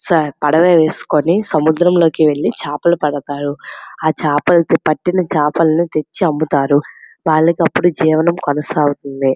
Sir పడవ వేసుకొని సముద్రములోకి వెళ్లి చేపలు పడతారు. ఆ చేపలు పట్టిన చాపలని తెచ్చి అమ్ముతారు వాళ్లకి అప్పుడు జీవనము కొనసాగుతుంది.